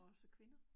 Også kvinder